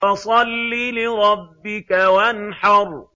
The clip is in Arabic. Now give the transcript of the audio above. فَصَلِّ لِرَبِّكَ وَانْحَرْ